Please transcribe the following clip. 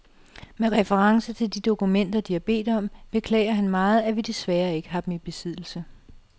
Med reference til de dokumenter, de har bedt om, beklager han meget, at vi desværre ikke har dem i besiddelse .